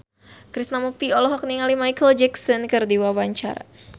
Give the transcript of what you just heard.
Krishna Mukti olohok ningali Micheal Jackson keur diwawancara